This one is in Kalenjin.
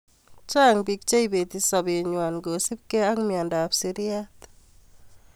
chang biik cheibeti sabenywai kosupgei ak miendap siryat